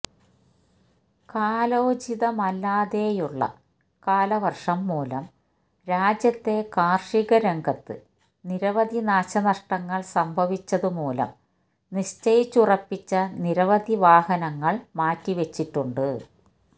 കാലോചിതമല്ലാതെയുള്ള കാലവര്ഷം മൂലം രാജ്യത്തെ കാര്ഷിക രംഗത്ത് നിരവധി നാശനഷ്ടങ്ങള് സംഭവിച്ചതുമൂലം നിശ്ചയിച്ചുറപ്പിച്ച നിരവധി വിവാഹങ്ങള് മാറ്റിവെച്ചിട്ടുണ്ട്